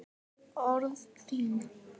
Orð þín